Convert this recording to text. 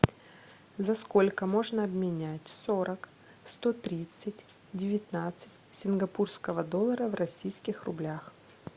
за сколько можно обменять сорок сто тридцать девятнадцать сингапурского доллара в российских рублях